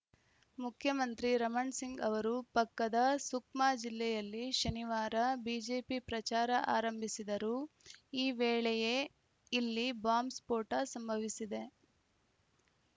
ಮುಖ್ಯಮಂತ್ರಿ ರಮಣ್‌ ಸಿಂಗ್‌ ಅವರು ಪಕ್ಕದ ಸುಕ್ಮಾ ಜಿಲ್ಲೆಯಲ್ಲಿ ಶನಿವಾರ ಬಿಜೆಪಿ ಪ್ರಚಾರ ಆರಂಭಿಸಿದರು ಈ ವೇಳೆಯೇ ಇಲ್ಲಿ ಬಾಂಬ್‌ ಸ್ಫೋಟ ಸಂಭವಿಸಿದೆ